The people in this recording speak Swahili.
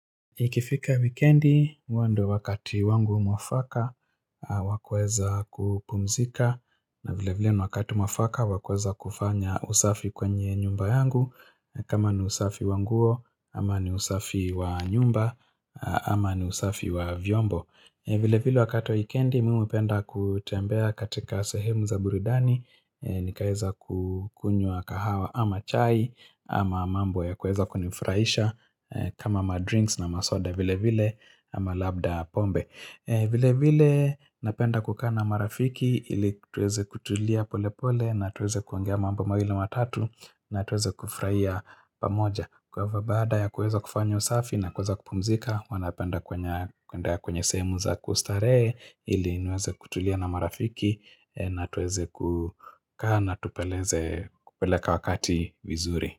Ikifika wikendi, huwa ndo wakati wangu mwafaka wakuweza kupumzika na vile vile wakati wakati mwafaka wakuweza kufanya usafi kwenye nyumba yangu kama ni usafi wa nguo, ama ni usafi wa nyumba, ama ni usafi wa vyombo vile vile wakati wikendi, miupenda kutembea katika sehemu za burudani nikaeza kukunywa kahawa ama chai, ama mambo ya kueza kunifuraisha kama madrinks na masoda vile vile na ama labda pombe vile vile napenda kukaa na marafiki ili tuweze kutulia pole pole na tuweze kuongea mambo mawili matatu na tuweze kufraia pamoja kwa ivo baada ya kueza kufanya usafi na kuweza kupumzika huwa napenda kwenye kwenye sehemu za kustarehe ili niweze kutulia na marafiki na tuweze kukaa na na tupeleze kupeleka wakati vizuri.